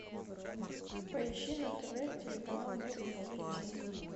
поищи на тв телеканал мир увлечений